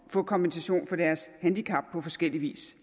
få kompensation for deres handicap på forskellig vis